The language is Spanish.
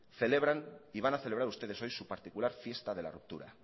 celebran y van a celebrar ustedes hoy su particular fiesta de la ruptura